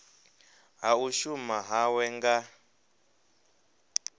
ha u shuma hawe nga